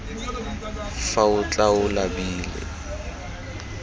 fa o tla o labile